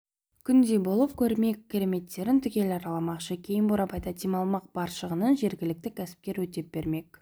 күндей болып көрме кереметтерін түгел араламақшы кейін бурабайда демалмақ бар шығынын жергілікті кәсіпкер өтеп бермек